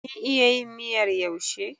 Kin iya yin miyar yaushe?